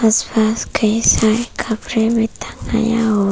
आसपास कई सारे कपड़े मे टंगाया हु--